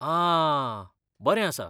आह! बरें आसा.